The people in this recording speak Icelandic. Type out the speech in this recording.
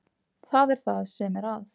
Það er það sem er að.